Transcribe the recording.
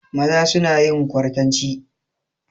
Maza suna yin kwartanci.